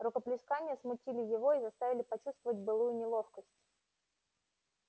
рукоплескания смутили его и заставили почувствовать былую неловкость